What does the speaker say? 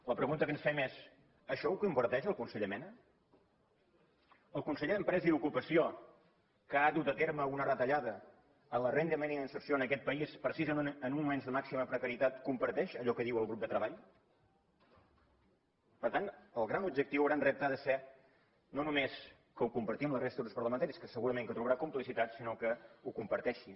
la pregunta que ens fem és això ho comparteix el conseller mena el conseller d’empresa i ocupació que ha dut a terme una retallada en la renda mínima d’inserció en aquest país precisament en uns moments de màxima precarietat comparteix allò que diu el grup de treball per tant el gran objectiu el gran repte ha de ser no només que ho compartim la resta de grups parlamentaris que segurament que trobarà complicitats sinó que ho comparteixi